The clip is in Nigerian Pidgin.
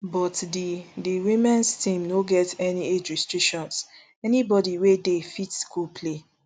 but di di womens teams no get any age restrictions anybody wey dey fit go play